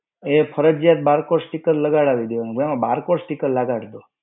એ ફરજીયાત barcode sticker લગાવડાવી દેવાનું. Barcode sticker લગાવી દો.